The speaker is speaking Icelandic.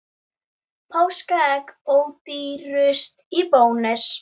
Við vitum samt að það verður erfitt.